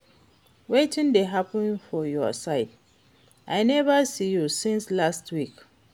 Wetin dey hapun for your side? I neva see you since lastweek.